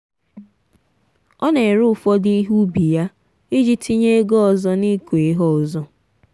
ọ na-ere ụfọdụ ihe ubi ya iji tinye ego ọzọ n’ịkụ ihe ọzọ.